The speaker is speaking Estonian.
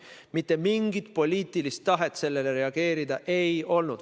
Mitte mingisugust poliitilist tahet sellele reageerida ei olnud.